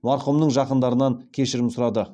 марқұмның жақындарынан кешірім сұрады